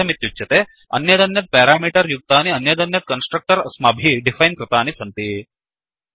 किमर्थमित्युच्यते अन्यदन्यत् पेरामीटर् युक्तनि अन्यदन्यत् कन्स्ट्रक्टर्स् अस्माभिः डिफैन् कृतानि सन्ति